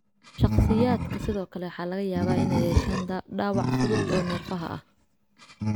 Shakhsiyaadka sidoo kale waxaa laga yaabaa inay yeeshaan dhaawac fudud oo neerfaha ah.